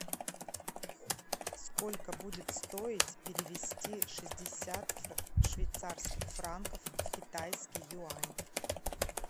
сколько будет стоить перевести шестьдесят швейцарских франков в китайский юань